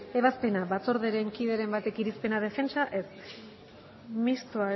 ebazpena batzordearen talderen batek irizpena defentsa ez mistoa